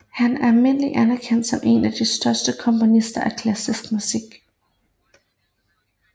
Han er almindeligt anerkendt som en af de største komponister af klassisk musik